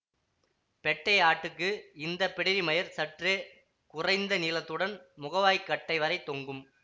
பெட்டை ஆட்டுக்கு இந்த பிடரி மயிர் சற்று குறைந்த நீளத்துடன் முகவாய்க்கட்டைவரை தொங்கும்